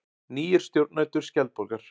Nýir stjórnendur Skjaldborgar